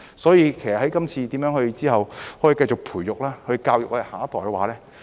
所以，今後如何可以繼續培育和教育下一代呢？